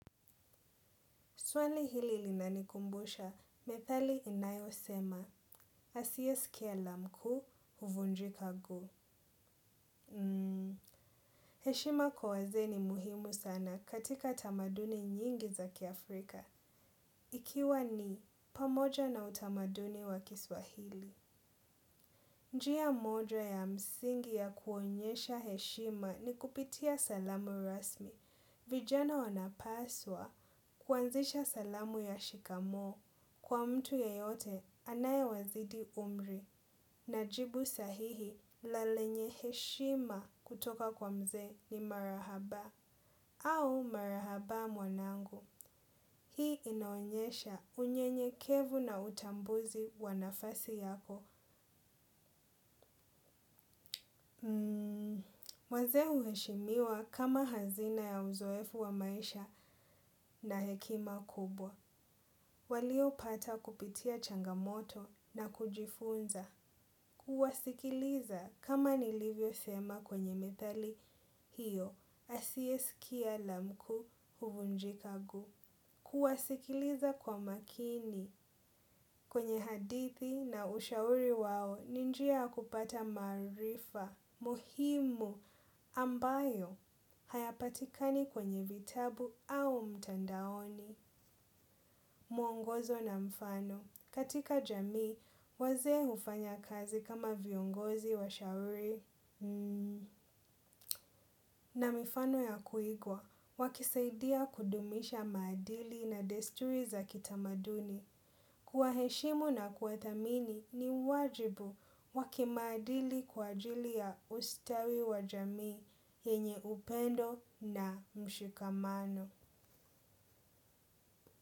Swali hili linanikumbusha, methali inayo sema, asiyeskia la mkuu, uvunjiika guu. Heshima kwa wazee ni muhimu sana katika tamaduni nyingi zaki Afrika. Ikiwa ni, pamoja na utamaduni wa kiswahili. Njia moja ya msingi ya kuonyesha heshima ni kupitia salamu rasmi. Vijana wanapaswa kuanzisha salamu ya shikamoo kwa mtu ye yote anaye wazidi umri na jibu sahihi lalenye heshima kutoka kwa mzee ni marahaba au marahaba mwanangu. Hii inaonyesha unyenye kevu na utambuzi wanafasi yako. Mazee huheshimiwa kama hazina ya uzoefu wa maisha na hekima kubwa. Walio pata kupitia changamoto na kujifunza, kuwasikiliza kama nilivyo sema kwenye methali hiyo, asiyeskia la mkuu huvunjika guu. Kuwasikiliza kwa makini kwenye hadithi na ushauri wao ninjia ya kupata maarifa, muhimu, ambayo, hayapatikani kwenye vitabu au mtandaoni, muongozo na mfano. Katika jamii, wazee ufanya kazi kama viongozi wa shauri. Na mifano ya kuigwa, wakisaidia kudumisha maadili na desturi za kitamaduni. Kuwa heshimu na kuwathamini ni wajibu wakimaadili kwa ajili ya ustawi wa jamii, yenye upendo na mshikamano.